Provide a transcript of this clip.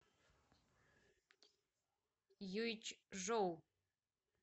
юйчжоу